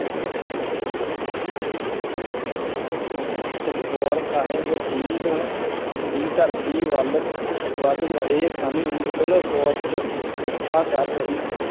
ਚਮਕੌਰ ਸਾਹਿਬ ਦੀ ਆਂ ਵੀ ਧਰਤੀ ਵੱਲ਼ ਵੱਧ ਰਹੇ ਸਨ। ਮੁਗਲ ਫ਼ੋਜ ਪਿੱਛਾ ਕਰ ਰਹੀ